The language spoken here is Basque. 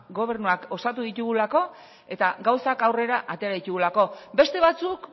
gobernuak osatu ditugulako eta gauzak aurrera atera ditugulako beste batzuk